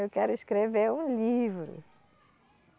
Eu quero escrever um livro.